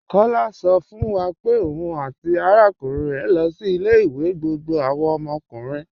Kọ̀lá sọ̀ fún wa pé ọ̀un àti arákùnrin rẹ lọ sí ilẹ̀-ìwé gbogbo àwọn ọmọkùnrin.